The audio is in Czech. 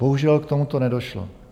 Bohužel k tomuto nedošlo.